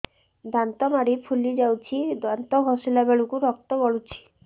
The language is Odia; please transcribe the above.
ଦାନ୍ତ ମାଢ଼ୀ ଫୁଲି ଯାଉଛି ଦାନ୍ତ ଘଷିଲା ବେଳକୁ ରକ୍ତ ଗଳୁଛି